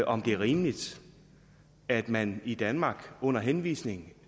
om det er rimeligt at man i danmark under henvisning